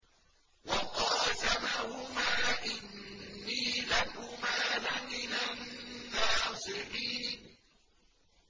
وَقَاسَمَهُمَا إِنِّي لَكُمَا لَمِنَ النَّاصِحِينَ